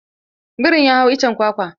Birin ya hau iccen kwakwa.